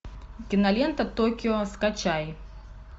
кинолента токио скачай